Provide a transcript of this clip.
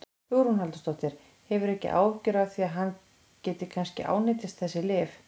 Hugrún Halldórsdóttir: Hefurðu ekki áhyggjur af því að hann gæti kannski ánetjast þessu lyfi?